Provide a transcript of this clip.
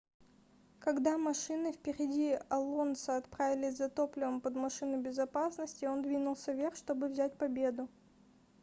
когда машины впереди алонсо отправились за топливом под машину безопасности он двинулся вверх чтобы взять победу